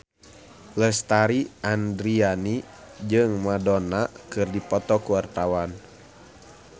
Lesti Andryani jeung Madonna keur dipoto ku wartawan